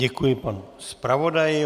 Děkuji panu zpravodaji.